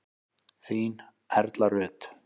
Þín Erla Rut.